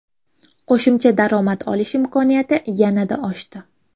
Qo‘shimcha daromad olish imkoniyati yanada oshdi.